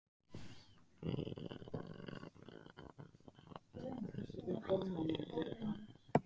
Grýla kann að hafa myndast í jarðskjálftum